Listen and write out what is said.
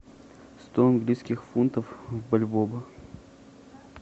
сто английских фунтов в бальбоа